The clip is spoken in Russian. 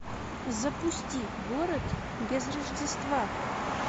запусти город без рождества